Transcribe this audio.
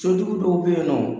Sotigiw dɔw bɛ yen nɔ